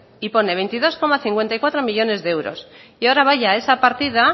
y pone veintidós coma cincuenta y cuatro millónes de euros y ahora vaya a esa partida